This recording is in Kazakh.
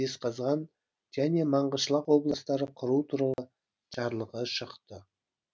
жезқазған және маңғышлақ облыстарын құру туралы жарлығы шықты